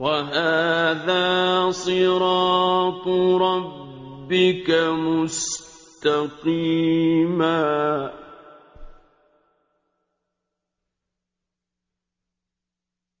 وَهَٰذَا صِرَاطُ رَبِّكَ مُسْتَقِيمًا ۗ